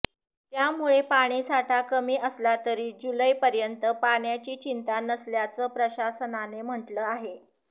त्यामुळे पाणीसाठा कमी असला तरी जुलैपर्यंत पाण्याची चिंता नसल्याचं प्रशासनाने म्हटलं आहे